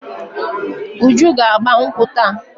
Uju ga-agba nkwụ́ taa.